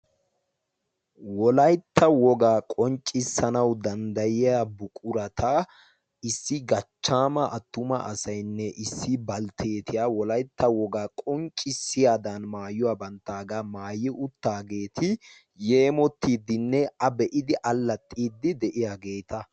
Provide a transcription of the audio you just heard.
wolaytta wogaa qonccissanawu danddayiya buqurata issi gachchaama attuma asaynne issi baltteetiya wolaytta wogaa qonccissiyaadan maayuwaa banttaagaa maayi uttaageeti yeemottiiddinne a be'idi allaxxiiddi de'iyaageeta